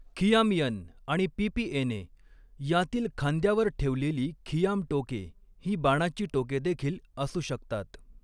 खियामियन आणि पीपीएनए यांतील खांद्यावर ठेवलेली खियाम टोके ही बाणाची टोके देखील असू शकतात.